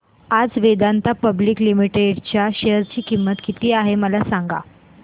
आज Vedanta public limited च्या share ची किंमत किती आहे मला सांगा